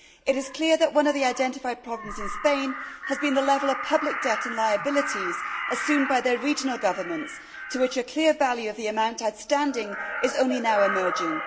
It is clear that one of the problems identified in Spain has been the level of public debt and liabilities assumed by their regional governments, to which a clear value of the amount outstanding is only now emerging.